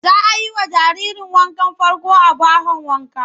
Za a yi wa jaririrn wankan farko a bahon wanka.